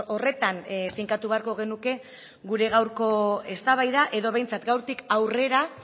horretan finkatu beharko genuke gure gaurko eztabaida edo behintzat gaurtik aurrera